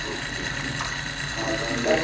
ਹਾਂ ਸਮਝ ਗਿਆ